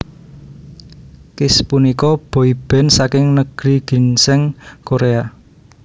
Kiss punika boyband saking Negeri Ginseng Korea